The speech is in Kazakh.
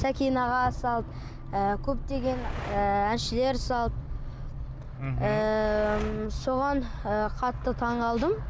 сәкен аға салды ыыы көптеген ыыы әншілер салды мхм ыыы соған ыыы қатты таңғалдым